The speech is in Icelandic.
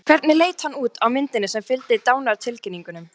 Hvernig leit hann aftur út á myndinni sem fylgdi dánartilkynningunni?